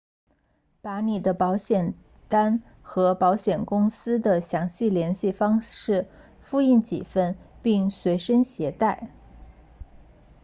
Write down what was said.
把你的保险单和保险公司的详细联系方式复印几份并随身携带